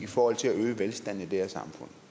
forhold til at øge velstanden i det her samfund